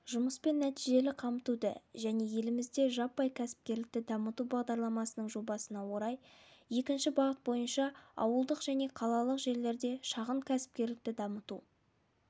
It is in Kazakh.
жұмыспен нәтижелі қамтуды және елімізде жаппай кәсіпкерлікті дамыту бағдарламасының жобасына орай екінші бағыт бойынша ауылдық және қалалық жерлерде шағын кәсіпкерлікті дамыту